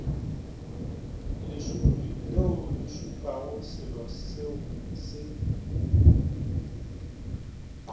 lešupi leole šupago seloseo se